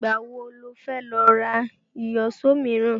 Ìgbà wo lo fẹ́ lọ ra Ìyíṣòó míràn?